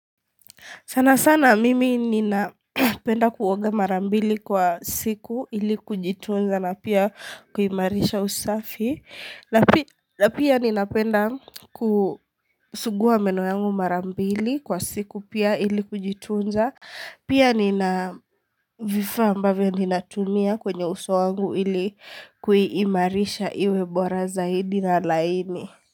Sana sana mimi ninapenda kuoga mara mbili kwa siku ili kujitunza na pia kuimarisha usafi. Na pia ninapenda kusuguwa meno yangu mara mbili kwa siku pia ili kujitunza. Pia nina vifaa ambavyo ninatumia kwenye uso wangu ili kuimarisha iwebora zaidi na laini.